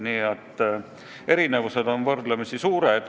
Nii et erinevused on võrdlemisi suured.